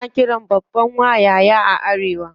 Ana qiran babban wa "yaya" a arewa.